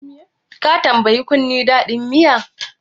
Ka tambayi kunne dadin miya?